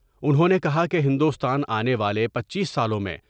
انھوں نے کہا کہ ہندوستان آنے والے پنچیس سالوں میں۔